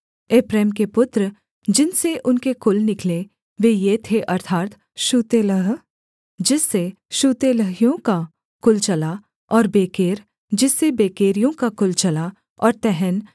एप्रैम के पुत्र जिनसे उनके कुल निकले वे ये थे अर्थात् शूतेलह जिससे शूतेलहियों का कुल चला और बेकेर जिससे बेकेरियों का कुल चला और तहन जिससे तहनियों का कुल चला